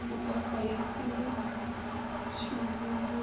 u posa ya tsimbe tshimvumvusi